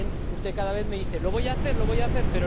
Usted cada vez me dice Lo voy a hacer, lo voy a hacer.